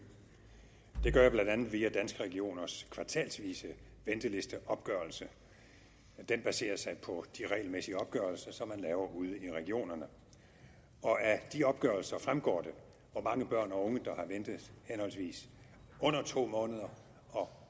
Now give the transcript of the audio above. det gør jeg blandt andet via danske regioners kvartalsvise ventelisteopgørelse den baserer sig på de regelmæssige opgørelser som man laver ude i regionerne af de opgørelser fremgår det hvor mange børn og unge der har ventet henholdsvis under to måneder